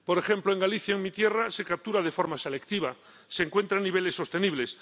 Por ejemplo, en Galicia, en mi tierra, se captura de forma selectiva, se encuentra en niveles sostenibles.